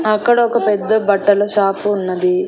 అక్కడ ఒక పెద్ద బట్టల షాపు ఉన్నది.